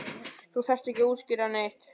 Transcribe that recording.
Þú þarft ekki að útskýra neitt.